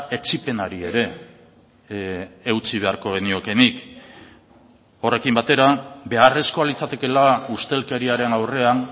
etsipenari ere eutsi beharko geniokeenik horrekin batera beharrezkoa litzatekeela ustelkeriaren aurrean